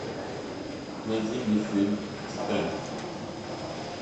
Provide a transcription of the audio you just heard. найди мне фильм титаник